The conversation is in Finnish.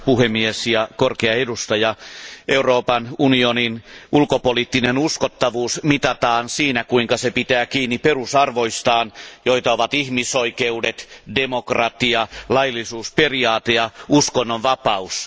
Arvoisa puhemies ja korkea edustaja, Euroopan unionin ulkopoliittinen uskottavuus mitataan siinä kuinka se pitää kiinni perusarvoistaan, joita ovat ihmisoikeudet, demokratia, laillisuusperiaate ja uskonnonvapaus.